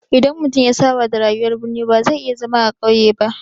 Idan mutum ya saba da rayuwar birni ba zai iya zama a ƙauye ba.